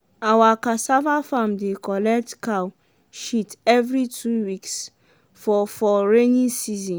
awa cassava farm dey collet cow shit every two weeks for for raining season.